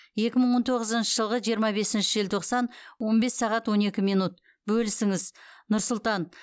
екі мың он тоғызыншы жылғы жиырма бесінші желтоқсан он бес сағат он екі минут бөлісіңіз нұр сұлтан